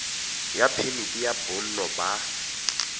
ya phemiti ya bonno ba